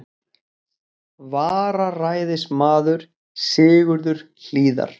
vararæðismaður, Sigurður Hlíðar.